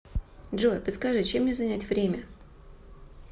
джой подскажи чем мне занять время